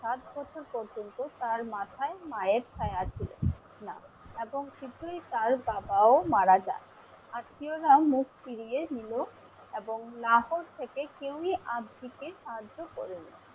ষাট বছর পর্যন্ত তার মাথায় মায়ের ছায়া ছিল না এবং তার বাবা ও মারা যান। আত্মিয়রা মুখ ফিরিয়ে নিলো এবং লাহোর থেকে কেউই আব্জিকে সাহায্য করেনি।